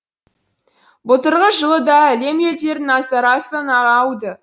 былтырғы жылы да әлем елдерінің назары астанаға ауды